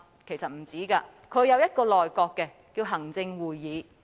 其實不是，他有一個內閣，稱為行政會議。